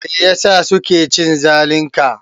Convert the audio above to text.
Meyasa suke cin zalin ka?